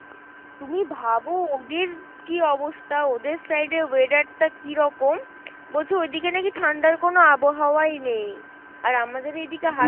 তুমি ভাবো ওদের কী অবস্থা, ওদের side এ weather টা কীরকম বলছে ওইদিকে নাকি ঠান্ডার কোনো আবহাওয়াই নেই, আর আমাদের এইদিকে